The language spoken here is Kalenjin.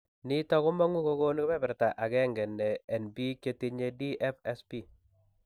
Niton kimongu kogonu keberberta nebo 1% en biik chetinye DFSP